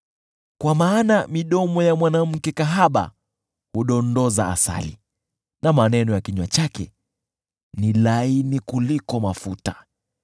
Kwa maana midomo ya mwanamke kahaba hudondoza asali, na maneno ya kinywa chake ni laini kuliko mafuta;